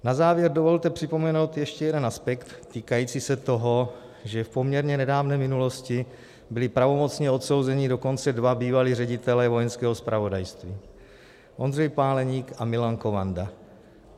Na závěr dovolte připomenout ještě jeden aspekt týkající se toho, že v poměrně nedávné minulosti byli pravomocně odsouzeni dokonce dva bývalí ředitelé Vojenského zpravodajství - Ondřej Páleník a Milan Kovanda.